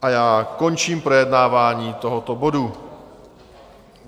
A já končím projednávání tohoto bodu.